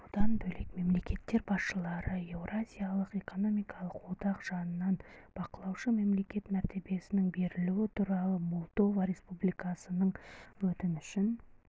бұдан бөлек мемлекеттер басшылары еуразиялық экономикалық одақ жанынан бақылаушы мемлекет мәртебесінің берілуі туралы молдова республикасының өтінішін